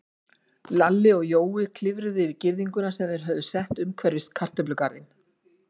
Lalli og Jói klifruðu yfir girðinguna sem þeir höfðu sett umhverfis kartöflugarðinn.